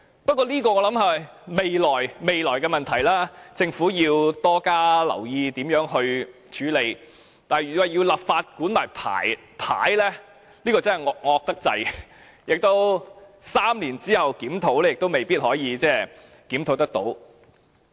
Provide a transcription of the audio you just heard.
不過，我想這是未來的問題，政府要多加留意如何處理，但如要立法規管牌位，這便太"惡"了，在3年後作檢討亦未必能夠做到。